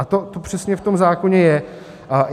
A to přesně v tom zákoně je.